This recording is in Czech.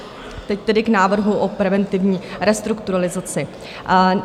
Teď tedy k návrhu o preventivní restrukturalizaci.